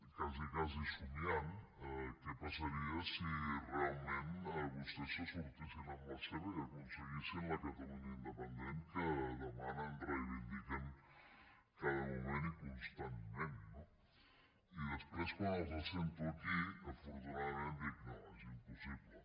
quasi quasi somniant què passaria si realment vostès se sortissin amb la seva i aconseguissin la catalunya independent que demanen i reivindiquen cada moment i constantment no i després quan els sento aquí afortunadament dic no és impossible